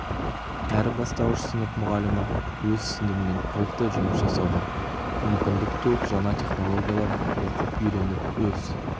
әр бастауыш сынып мұғалімі өз сыныбымен толықтай жұмыс жасауға мүмкіндік туып жаңа технологияларын оқып үйреніп өз